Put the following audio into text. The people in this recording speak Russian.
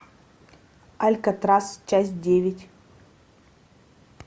алькатрас часть девять